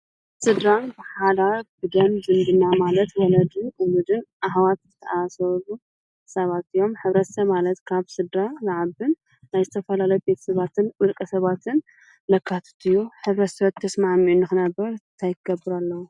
ስድራን ብሓዳር ብደም ዝምድና ማለት ወለድን ወለዱን ብምሉእ ኣሕዋት ዝተኣሳሰሩ ሰባት እዮም. ሕብረተሰብ ማለት ካብ ስድራ ዝዓብን ናይ ዝተፈላለዩ ቤተሰባትን ውልቀሰባትን ዘካትት እዩ። ሕብረተሰብ ተስማሚዑ ንኽነብር ታይክገብር ኣለዎ?